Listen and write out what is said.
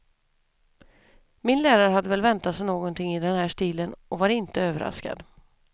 Min lärare hade väl väntat sig något i den här stilen och var inte överraskad.